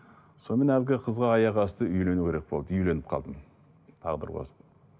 сонымен әлгі қызға аяқасты үйлену керек болды үйленіп қалдым тағдыр қосып